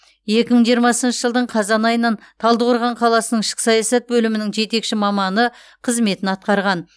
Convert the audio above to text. екі мың жиырмасыншы жылдың қазан айынан талдықорған қаласының ішкі саясат бөлімінің жетекші маманы қызметін атқарған